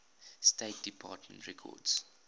state department records